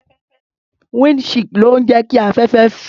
Wínd shield ló ń jẹ́ kí afẹ́fẹ́ fẹ́.